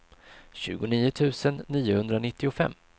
tjugonio tusen niohundranittiofem